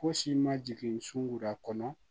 Fosi ma jigin sun da kɔnɔ